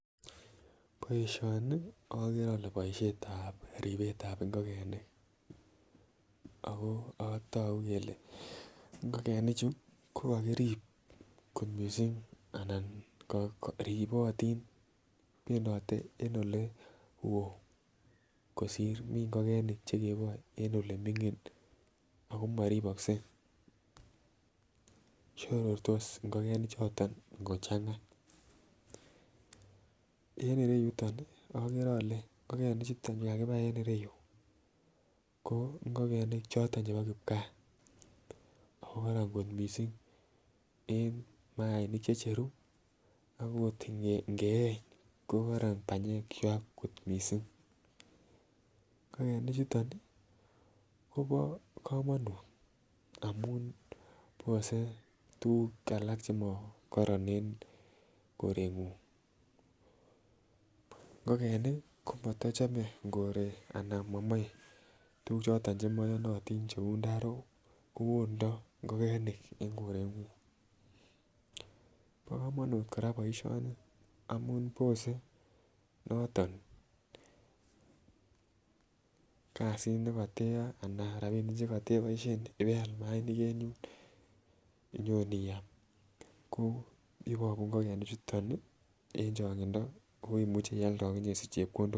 boisioni ogere olee boisiet ab ribbet ab ngogenik, ago togu kelee ngogenik chu kogagirib kot mising anan ribotin bendote en ole woo kosiir mi ngogenik chegeboe en oleminging ako moriboske shorortos ngogenik choton ngochanga en ireyuton ogere ole ngogaik chuto kagibai en ireyuu ko ngogenik choton chebo kipkaa ago koron koot mising en maaik checheru akot ngieeny kogoron banyeek kywaak kot mising, ngogenik chuton kobo komonut omun bose tuguk alak chemogoron en korengung, ngogenik komotochome koree anan komoi tuguk choton chemoyonotin cheuu ndorook koondoo ngogenik en korengunk, bogomonut koraa boisionii amun bosuu noton kasit negoteyoe anan rabinik chegoteboisien ibeal mayainik en yun nyon iyaam koo iwongu ngogenik chuton en chongindo koimuch nyoialda ogisich chepkondook